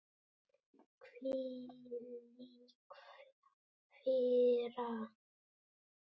Hvílík firra.